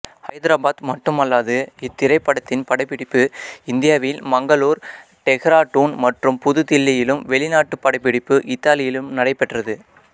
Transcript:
ஹைதராபாத் மட்டுமல்லாது இத்திரைப்படத்தின் படப்பிடிப்பு இந்தியாவில் மங்களூர் டெஹ்ராடூன் மற்றும் புது தில்லியிலும் வெளிநாட்டு படப்பிடிப்பு இத்தாலியிலும் நடைபெற்றது